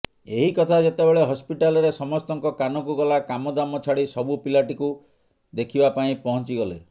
ଏହି କଥା ଯେତେବେଳେ ହସ୍ପିଟାଲରେ ସମସ୍ତଙ୍କ କାନକୁ ଗଲା କାମଦାମ ଛାଡି ସବୁ ପିଲାଟିକୁ ଦେଖିବା ପାଇଁ ପହଁଚିଗଲେ